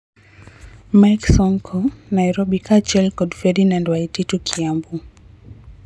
Mike Sonko (Nairobi) kaachiel kod Ferdinand Waititu (Kiambu)